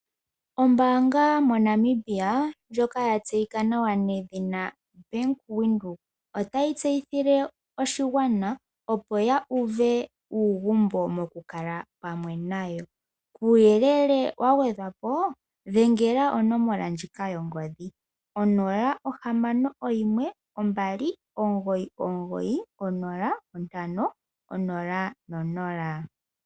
Ombanga MoNamibia yaVenduka otayi tseyithile aakwashigwana opo ya uve uugumbo mokukala pamwe nayo kuuyelele wagwedhwapo dhenga dhengela onomola ndjika yongodhi 0612990500.